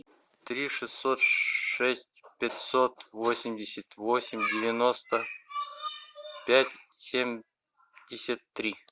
три шестьсот шесть пятьсот восемьдесят восемь девяносто пять семьдесят три